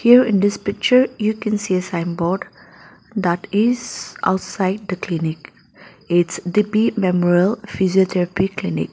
here in this picture you can see a sign board that is outside the clinic it's D_P memorial physiotherapy clinic.